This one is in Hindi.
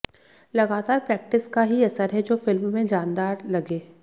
लगातार प्रैक्टिस का ही असर है जो फिल्म में जानदार लगे